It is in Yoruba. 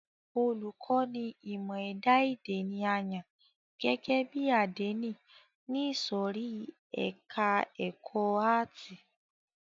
Olùkọ́ni ìmọ ẹ̀dá èdè ni a yàn gẹ́gẹ́ bí àdénì ní ìsòrí ẹka ẹ̀kọ́ àátì.